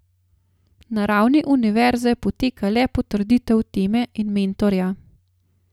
Na ravni univerze poteka le potrditev teme in mentorja.